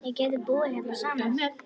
Við getum búið hérna saman.